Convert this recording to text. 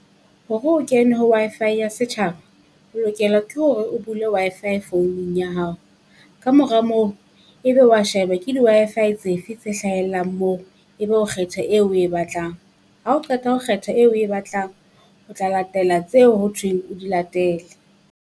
Hore o kene ho Wi-Fi ya setjhaba, o lokela ke hore o bule Wi-Fi founung ya hao, kamora moo ebe wa sheba ke di Wi-Fi tse fe tse hlahellang moo. Ebe o kgetha eo oe batlang, ha o qeta ho kgetha eo oe batlang o tla latela tseo ho thweng o di latele.